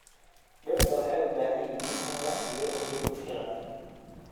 Dhirta waxay u baahan yihiin in la siiyo biyo ku filan.